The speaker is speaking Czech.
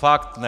Fakt ne!